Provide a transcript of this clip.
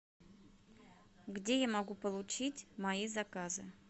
где я могу получить мои заказы